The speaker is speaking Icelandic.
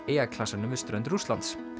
eyjaklasanum við strönd Rússlands